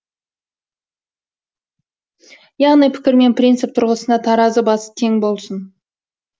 яғни пікір мен принцип тұрғысында таразы басы тең болсын